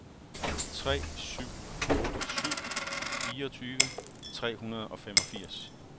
tre syv otte syv fireogtyve tre hundrede og femogfirs